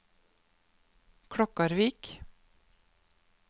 Klokkarvik